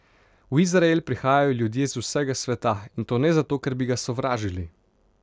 V izrael prihajajo ljudje z vsega sveta in to ne zato, ker bi ga sovražili.